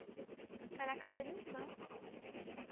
Ficar na casa da minha irmã.